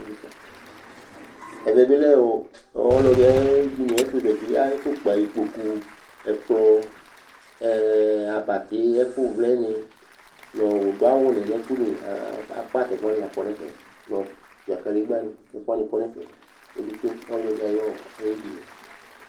ɛvɛ bi ɔ, ɔɔ, ɔlɔdi ayedini ayɛfu zati, ayɛfu kpa ikpoku, ɛkplɔ, ɛɛɛɛ abati ɛfu vlɛni nɔɔ, nu ɔdu awu ni nu ɛkɛli , akpa tɛku wʋani la kɔ nu ɛfɛ, nu ɔsuia kadegba ni ku ɛku wʋani kɔ nu ɛfɛ kpekpekpe, nu ɔlɔdi ayɔ, ayedini